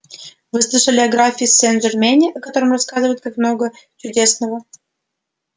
вы слышали о графе сенжермене о котором рассказывают так много чудесного